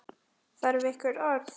Þarf einhver orð?